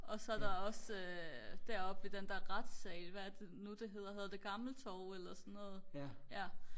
og så er der også øh deroppe ved den der retsal hvad er det nu det hedder hedder det gammel torv eller sådan noget ja